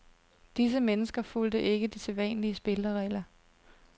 Disse mennesker fulgte ikke de sædvanlige spilleregler.